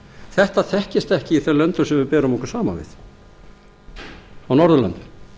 þetta þekkist ekki í þeim löndum sem við berum okkur saman við á norðurlöndum